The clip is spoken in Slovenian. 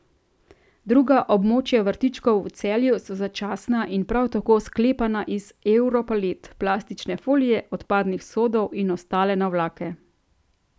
Druga območja vrtičkov v Celju so začasna in prav tako sklepana iz europalet, plastične folije, odpadnih sodov in ostale navlake.